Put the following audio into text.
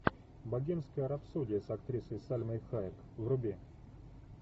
богемская рапсодия с актрисой сальмой хайек вруби